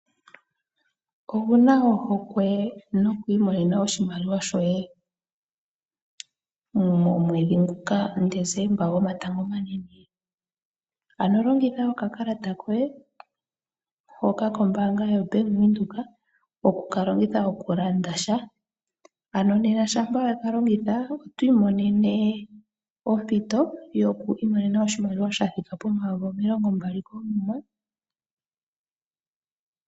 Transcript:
Owuna ohokwe noku imonena oshimaliwa shoye momwedhi nguka Dezemba go matango omanene? Ano longitha oka kalata koye hoka kombaanga yoBank windhoek oku kalongitha oku landa sha. No nena shampa weka longitha oto imonene ompito yoku imonena oshimaliwa sha thika po mayovi omilongo mbali koomuma.